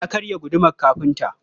Ya karya gudumar kafinta.